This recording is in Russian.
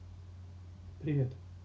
привет